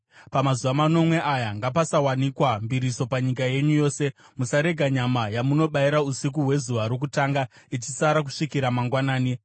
Pamazuva manomwe aya ngapasawanikwa mbiriso panyika yenyu yose. Musarega nyama yamunobayira usiku hwezuva rokutanga ichisara kusvikira mangwanani.